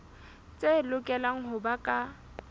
tse lokelang ho ba ka